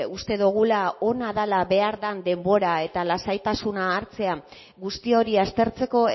uste dugula ona dela behar den denbora eta lasaitasuna hartzea guzti hori aztertzeko